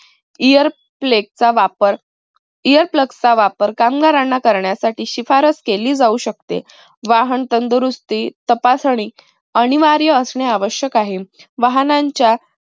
ear plugs वापर ear plugs वापर कामगारांना करण्यासाठी शिफारस केली जाऊ शकते. वाहन तंदुरुस्ती, तपासणी अनिवार्य असणे आवश्यक आहे. वाहनांच्या